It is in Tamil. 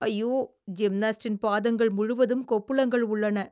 அய்யோ! ஜிம்நாஸ்ட்டின் பாதங்கள் முழுவதும் கொப்புளங்கள் உள்ளன.